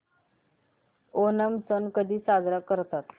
ओणम सण कधी साजरा करतात